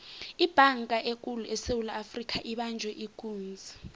ibhanga ekulu esewula afrika ibanjwe ikunzi